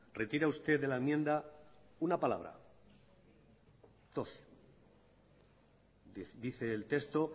retira usted de la enmienda una palabra dos dice el texto